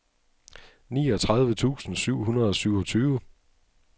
niogtredive tusind syv hundrede og syvogtyve